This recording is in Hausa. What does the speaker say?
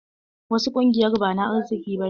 Wasu ƙungiyar ba na arziki ba ne.